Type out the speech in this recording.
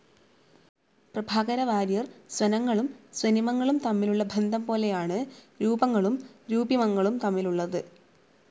പ്രഭാകരവാര്യർ സ്വനങ്ങളും സ്വനിമങ്ങളും തമ്മിലുള്ള ബന്ധം പോലെയാണ് രൂപങ്ങളും രൂപിമങ്ങളും തമ്മിലുള്ളത്.